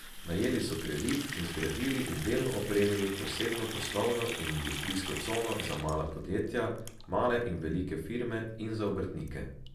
Najeli so kredit in zgradili in delno opremili posebno poslovno in industrijsko cono za mala podjetja, male in velike firme in za obrtnike.